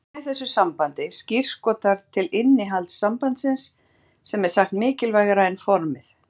Hið hreina í þessu sambandi skírskotar til innihalds sambands sem er sagt mikilvægara en formið.